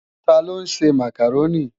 Tá ló nsé Mákároni?